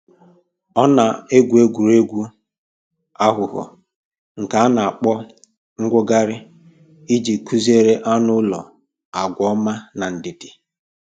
Ọ na-egwu egwuregwu aghụghọ nke a na-akpọ mwogharị iji kụziere anụ ụlọ agwa ọma na ndidi